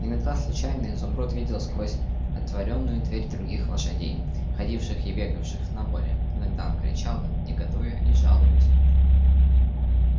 иногда случайно изумруд видел сквозь отворенную дверь других лошадей ходивших и бегавших на воле иногда он кричал им негодуя и жалуясь